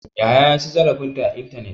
Yahaya ya ci zarafin ta ta intanet ne.